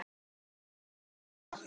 Eyðir hann miklu við það?